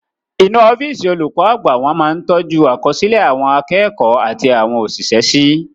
Inú ọ́físì olùkọ́ àgbà wọn máa ń tọ́jú àkọsílẹ̀ àwọn akẹ́kọ̀ọ́ àti àwọn òṣìṣẹ́ sí